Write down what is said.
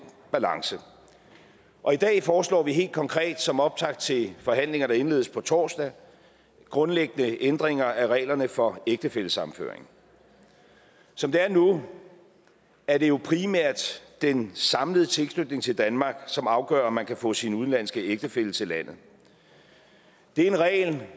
balance og i dag foreslår vi helt konkret som optakt til forhandlinger der indledes på torsdag grundlæggende ændringer af reglerne for ægtefællesammenføring som det er nu er det primært den samlede tilknytning til danmark som afgør om man kan få sin udenlandske ægtefælle til landet det er en regel